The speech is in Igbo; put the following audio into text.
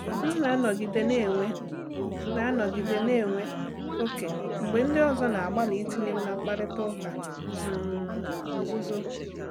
M na-anọgide na-enwe na-anọgide na-enwe ókè mgbe ndị ọzọ na-agbalị itinye m na mkparịta ụka um nzuzo.